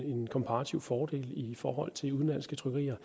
komparativ fordel i forhold til udenlandske trykkerier